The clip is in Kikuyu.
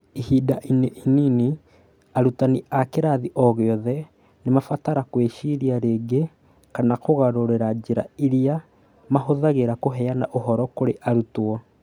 Ihinda-inĩ inini, arutani a kĩrathi o gĩothe nĩ maabatara gwĩciria rĩngĩ kana kũgarũrĩra njĩra iria maahũthagĩra kũheana ũhoro kũrĩ arutwo .